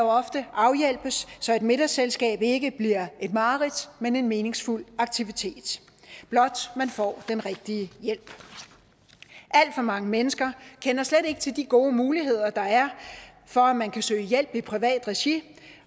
ofte afhjælpes så et middagsselskab ikke bliver et mareridt men en meningsfuld aktivitet blot man får den rigtige hjælp alt for mange mennesker kender slet ikke til de gode muligheder der er for at man kan søge hjælp i privat regi